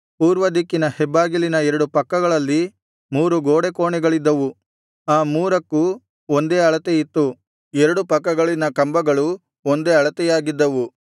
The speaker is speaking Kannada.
ಪೂರ್ವದಿಕ್ಕಿನ ಹೆಬ್ಬಾಗಿಲಿನ ಎರಡು ಪಕ್ಕಗಳಲ್ಲಿ ಮೂರು ಗೋಡೆಕೋಣೆಗಳಿದ್ದವು ಆ ಮೂರಕ್ಕೂ ಒಂದೇ ಅಳತೆ ಇತ್ತು ಎರಡು ಪಕ್ಕಗಳಲ್ಲಿನ ಕಂಬಗಳೂ ಒಂದೇ ಅಳತೆಯಾಗಿದ್ದವು